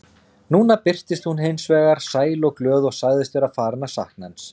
Núna birtist hún hins vegar sæl og glöð og sagðist vera farin að sakna hans.